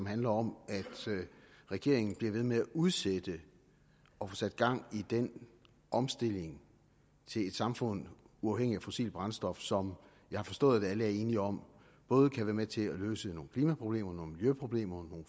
handler om at regeringen bliver ved med at udsætte at få sat gang i den omstilling til et samfund der uafhængigt af fossile brændstoffer som jeg har forstået alle er enige om både kan være med til at løse nogle klimaproblemer nogle miljøproblemer og